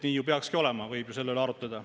Nii peakski olema, võib ju selle üle arutleda.